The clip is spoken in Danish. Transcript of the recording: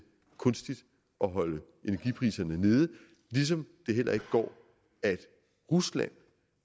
kunstigt at holde energipriserne nede ligesom det heller ikke går at rusland